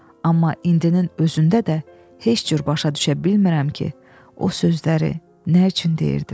Amma indinin özündə də heç cür başa düşə bilmirəm ki, o sözləri nə üçün deyirdim?